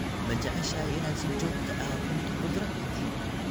Ma jeceshahay inaad si joogto ah u cunto khudrad?